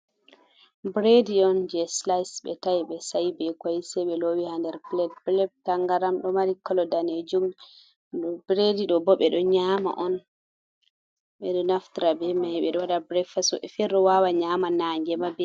Bredi on je slise, ɓe ta'i, ɓe sa'i bee Koi, sey ɓe loowi haa nder Plat. Plat tangaram ɗo mari kolo daneejum. Bredi ɗo boo ɓe ɗo nyaama on, ɓe ɗo naftira bee may, ɓe waɗa brekfast, woɓɓe feere ɗo waawa nyaama nange ma be.....